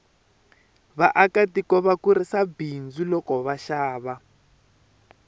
vaaka tiko va kurisa bindzu loko va xava